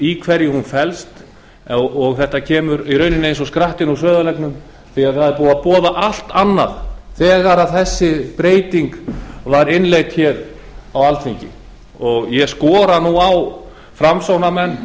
í hverju hún felst og þetta kemur í rauninni eins og skrattinn úr sauðarleggnum því að það var búið að boða allt annað þegar þessi breyting var innleidd á alþingi ég skora nú á framsóknarmenn